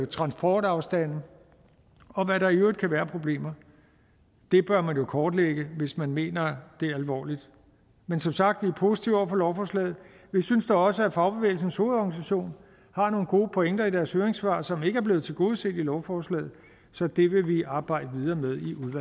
transportafstande og hvad der i øvrigt kan være af problemer det bør man jo kortlægge hvis man mener det alvorligt men som sagt er vi positive over for lovforslaget vi synes da også at fagbevægelsens hovedorganisation har nogle gode pointer i deres høringssvar som ikke er blevet tilgodeset i lovforslaget så det vil vi arbejde videre med